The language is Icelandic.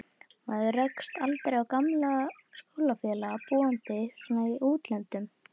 Maður rekst aldrei á gamla skólafélaga, búandi svona í útlöndum.